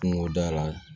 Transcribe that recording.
Kungo da la